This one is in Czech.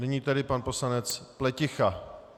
Nyní tedy pan poslanec Pleticha.